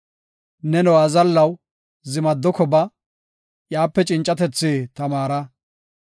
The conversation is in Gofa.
Neno azallaw, zimadoko ba; iyape cincatethi tamaara.